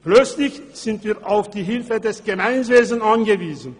Plötzlich sind wir auf die Hilfe des Gemeinwesens angewiesen.